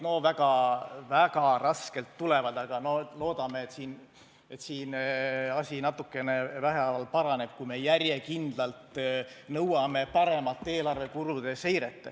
No väga raskelt tulevad, aga loodame, et siin asi natukene vähehaaval paraneb, kui me järjekindlalt nõuame paremat eelarve kulude seiret.